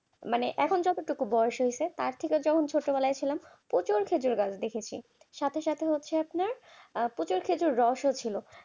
মানে এতোটুকু যত বয়স হয়েছে তার থেকে যখন ছোটবেলায় ছিলাম প্রচুর খেজুর গাছ দেখেছি সাথে সাথে হচ্ছে আপনার প্রচুর প্রচুর রস ছিল